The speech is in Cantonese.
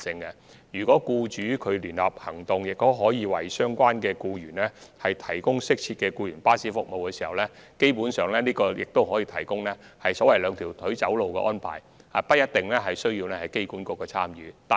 如果僱主的聯合安排可為相關僱員提供適切的僱員服務，這基本上可以達致所謂"兩條腿走路"的安排，無須機管局參與。